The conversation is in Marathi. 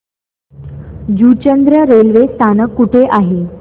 जुचंद्र रेल्वे स्थानक कुठे आहे